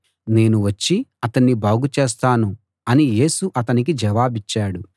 నేను వచ్చి అతణ్ణి బాగు చేస్తాను అని యేసు అతనికి జవాబిచ్చాడు